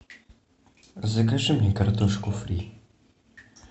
закажи мне картошку фри